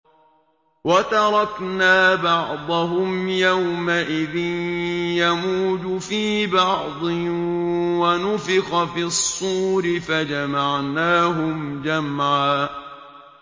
۞ وَتَرَكْنَا بَعْضَهُمْ يَوْمَئِذٍ يَمُوجُ فِي بَعْضٍ ۖ وَنُفِخَ فِي الصُّورِ فَجَمَعْنَاهُمْ جَمْعًا